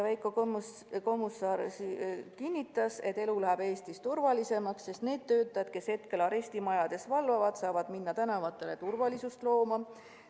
Veiko Kommusaar kinnitas, et elu läheb Eestis turvalisemaks, sest need töötajad, kes praegu arestimajades valvavad, saavad minna tänavatele turvalisust tagama.